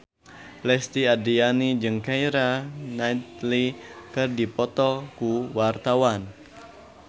Lesti Andryani jeung Keira Knightley keur dipoto ku wartawan